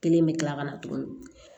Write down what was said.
Kelen bɛ kila ka na tuguni